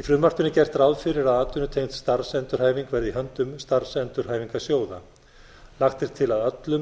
í frumvarpinu er gert ráð fyrir að atvinnutengd starfsendurhæfing verði í höndum starfsendurhæfingarsjóða lagt er til að öllum